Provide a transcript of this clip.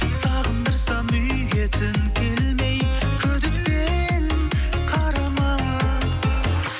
сағындырсам үйге түн келмей күдікпен қарама